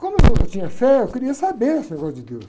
Como eu, eu tinha fé, eu queria saber esse negócio de Deus.